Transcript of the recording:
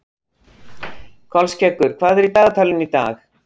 Kolskeggur, hvað er í dagatalinu í dag?